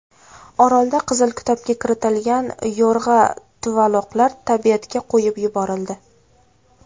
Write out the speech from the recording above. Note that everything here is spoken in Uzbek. Orolda Qizil kitobga kiritilgan yo‘rg‘a tuvaloqlar tabiatga qo‘yib yuborildi.